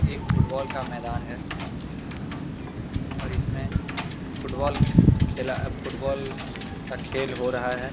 एक फुटबॉल का मैदान है और इसमें फुटबॉल खे खेला फुटबॉल का खेल हो रहा हैं।